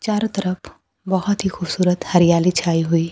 चारों तरफ बहोत ही खूबसूरत हरियाली छायी हुईं--